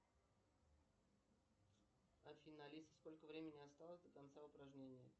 афина алиса сколько времени осталось до конца упражнения